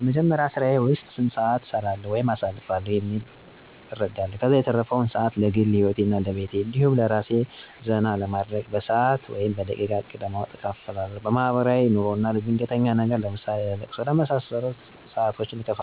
በመጀመሪያ ስራየ ዉስጥ ስንት ሰአት እሰራለዉ ወይም አሳልፋለሁ የሚለዉን እረዳለሁ። ከዛ የተረፈዉን ሰአት ለግል ሂወቴ እና ለቤቴ እንዲሁም አራሴን ዘና ለማድረግ በሰአት ወይም በደቂቃ እቅድ በማዉጣት እከፋፍላለሁ። ለማሕበራዉይ ኑሮ አና ለድንገተኛ ነገር ለምሳሌ ለቅሶ ቢኖር ድንገት ሰው ቢታመም ወይም ትንሽ ድካም እና ድብርት ቢያጋጥመኝ እንዳልጨናነቅ ሪዘርብ ሰአት አመድባለሁ። ለማስኬድ የምሞክረዉ፦ ቀድሜ እቅድ በማዉጣት ያለኝን ሰአት ከፋፍየ አመድባለሁ።